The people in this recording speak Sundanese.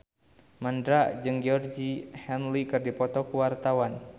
Mandra jeung Georgie Henley keur dipoto ku wartawan